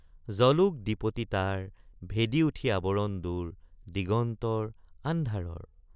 জলোক দ্বিপতি তাৰ ভেদি উঠি আৱৰণ দূৰ দিগন্তৰ আন্ধাৰৰ।